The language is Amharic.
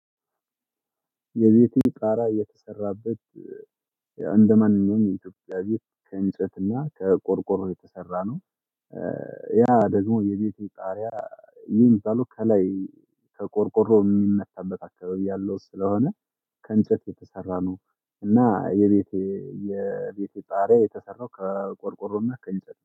የቤቴ ጣራ የተሰራበት እንደማንኛውም የኢትዮጵያ ቤት ከእንጨትና ከቆርቆሮ የተሰራ ነው። ያ ደግሞ የቤቱ ጣሪያ የሚባለው ከላይ ከቆርቆሮ የሚመመታበት አካባቢ ያለው ስለሆነ ከእንጨት የተሰራ ነው። እና የቤቴ የቤቴ ጣሪያ የተሰራው ከቆርቆሮና ከእንጨት ነው